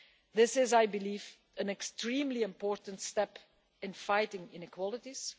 This, I believe, is an extremely important step in fighting inequalities.